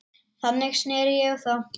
Þannig sneri ég á þá.